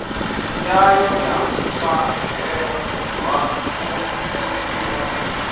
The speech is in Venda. yayo ya fhahehwa u thuthiwa